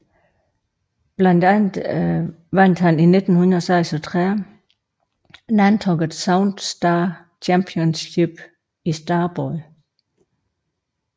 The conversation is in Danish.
Blandt andet vandt han i 1936 Nantucket Sound Star Championship i starbåd